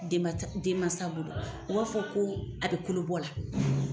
Denman denmansa bolo u b'a fɔ ko a bɛ kolo bɔ la.